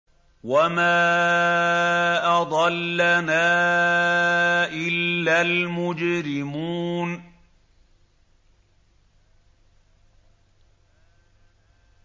وَمَا أَضَلَّنَا إِلَّا الْمُجْرِمُونَ